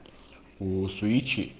голосу речи